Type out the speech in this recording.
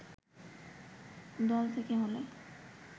দল থেকে হলে